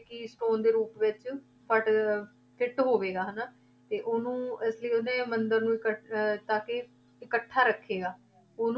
Keystone ਦੇ ਰੂਪ ਵਿੱਚ fit ਹੋਵੇਗਾ ਹਨਾ, ਤੇ ਉਹਨੂੰ ਇਸ ਲਈ ਉਹਨੇ ਮੰਦਿਰ ਨੂੰ ਕ~ ਅਹ ਤਾਂ ਕਿ ਇਕੱਠਾ ਰੱਖੇਗਾ ਉਹ